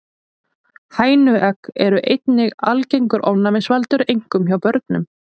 Hænuegg eru einnig algengur ofnæmisvaldur, einkum hjá börnum.